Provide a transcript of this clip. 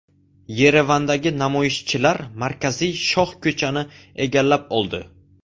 Yerevandagi namoyishchilar markaziy shohko‘chani egallab oldi.